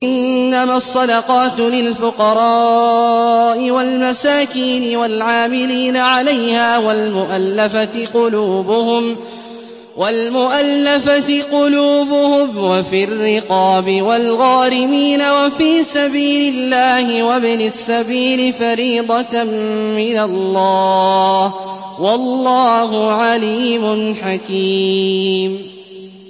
۞ إِنَّمَا الصَّدَقَاتُ لِلْفُقَرَاءِ وَالْمَسَاكِينِ وَالْعَامِلِينَ عَلَيْهَا وَالْمُؤَلَّفَةِ قُلُوبُهُمْ وَفِي الرِّقَابِ وَالْغَارِمِينَ وَفِي سَبِيلِ اللَّهِ وَابْنِ السَّبِيلِ ۖ فَرِيضَةً مِّنَ اللَّهِ ۗ وَاللَّهُ عَلِيمٌ حَكِيمٌ